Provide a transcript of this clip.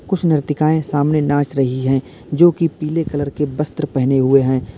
कुछ नृत्यकाये सामने नाच रही है जो की पीले कलर के वस्त्र पहने हुए हैं।